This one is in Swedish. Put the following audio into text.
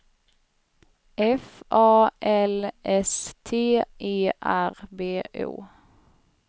F A L S T E R B O